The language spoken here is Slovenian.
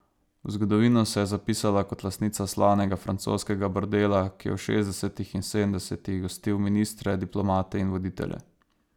V zgodovino se je zapisala kot lastnica slavnega francoskega bordela, ki je v šestdesetih in sedemdesetih gostil ministre, diplomate in voditelje.